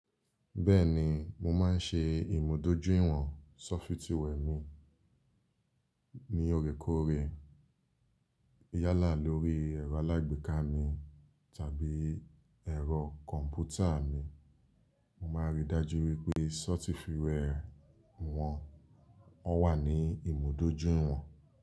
Bẹ́ẹ̀ni mo máa ń ṣe ìmúdójúìwọ̀n sọ́fítíwẹẹ̀ mi ní òòrèkóòrè yálà lórí ẹ̀rọ alágbèéká mi tàbí ẹ̀rọ kọ̀ǹpútà mi, mo máa ń rí i dájú wípé sọ́fítíwẹẹ̀ wọn ó wà ní ìmúdójúìwọ̀n.